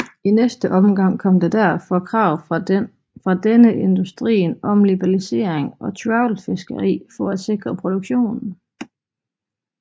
I næste omgang kom der derfor krav fra denne industrien om liberalisering og trawlfiskeri for at sikre produktionen